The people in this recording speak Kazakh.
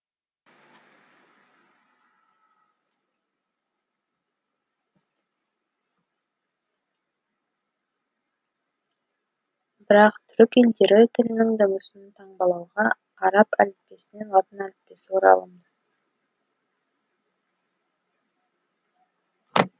бірақ түрік елдері тілінің дыбысын таңбалауға араб әліппесінен латын әліппесі оралымды